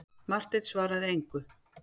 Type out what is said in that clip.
Marteinn svaraði engu.